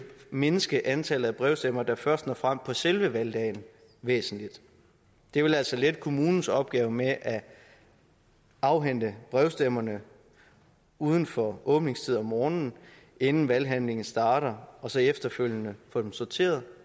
mindske antallet af brevstemmer der først når frem på selve valgdagen væsentligt det vil altså lette kommunens opgave med at afhente brevstemmerne uden for åbningstid om morgenen inden valghandlingen starter og så efterfølgende få dem sorteret